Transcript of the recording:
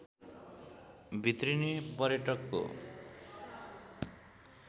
भित्रिने पर्यटकको